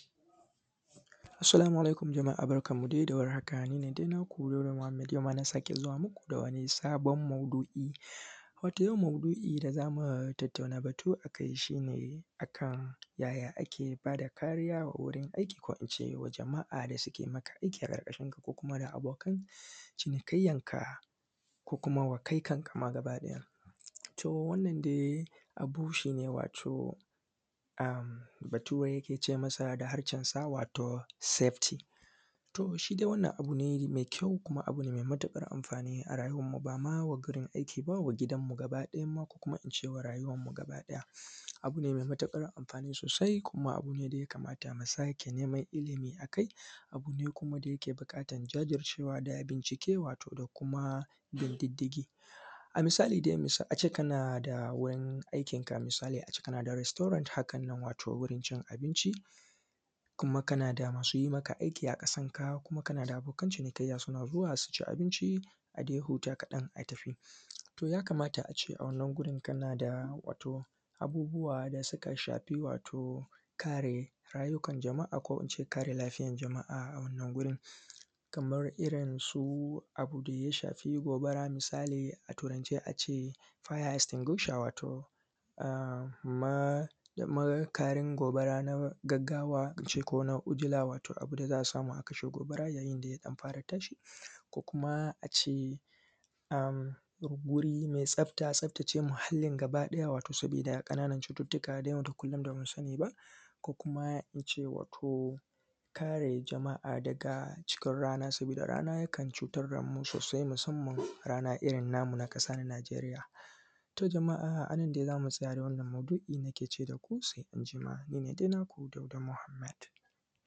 Assalamu alaikum jama’a a barkanmu da warhaka har kullum nine dai naku Dauda Mohammed wato yau ma nazo muku da sabon maudu’i a yau maudu’in da za mu tattauna batu akai shi ne yaya ake ba da kariya a wurin aiki ko kuma ga jama’a wanda suke ma aiki ko kuma abokan cinikayyanka ko kuma ga kai kanka ma gabaɗaya wato wanda Bature yake cewa a harshen sa wato safety? Abu ne me kyau kuma me matuƙar amfani ba ma ga wurin aiki ba a gidan mu bakiɗaya ko kuma a rayuwan mu bakiɗaya, abu ne me matukar amfani sosai kuma abu ne da ya kamata mu sake neman ilimi, sannan kuma abu ne da yake buƙatar wato jajircewa da kuma bincike da kuma bin diddigi, a misali dai a ce kana da wurin aikin ka misali a ce kana da restaurant haka wato wurin cin abinci kuma kana da masu yi maka aiki a ƙasanka kuma kana da abokan cinikayya. A ci abinci a ɗan huta kaɗan a tafi to ya kamata a ce a wannan gurin kana da wato abubuwa da suka shafi wato kare rayukan jama’a, ko kuma in ce kare lafiyan jama’a a wannan gurin kaman irin su abu da ya shafi gobara. Misali a Turance a ce Fire Estinguisher wato makarin gobara na gaugawa ko na ujula, wato abun da za a samu a kashe gobara idan ya fara tashi ko kuma a ce wuri mai tsafata, tsaftace muhallin gabaɗaya wato saboda ƙananan cututtuka wanda da yawa ba mu sani ba ko kuma in ce wato kare jama’a daga wato rana sabida rana yakan cutar da mu sosai musamman rana namu irin na ƙasa Najeriya. To, a nan nake ce daku sai anjima. Ni ne dai naku Dauda Muhammed.